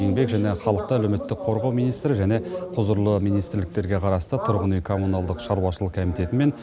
еңбек және халықты әлеуметтік қорғау министрі және құзырлы министрліктерге қарасты тұрғын үй коммуналдық шаруашылық комитеті мен